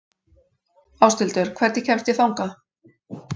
Ásthildur, hvernig kemst ég þangað?